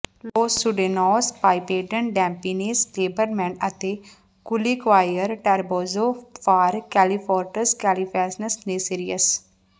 loss ਸਿਯੂਡਡੇਨੌਸ ਪਾਈਪੇਡਨ ਡੈਮਪੀਨੇਸ ਲੇਬਰਲਮੈਂਟ ਅਤੇ ਕੁਲੀਕੁਆਇਰ ਟਰੇਬੋਜੋ ਫਾਰ ਕੈਲੀਫੋਰੈਂਟਸ ਕੈਲੀਫੈਸੀਨੇਸ ਨੇਸੀਅਰਸ